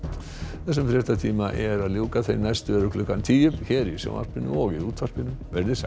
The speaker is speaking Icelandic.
þessum fréttatíma er að ljúka þeir næstu eru klukkan tíu hér í sjónvarpinu og í útvarpinu veriði sæl